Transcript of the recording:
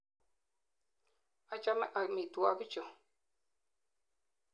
Achame amitwogik chu.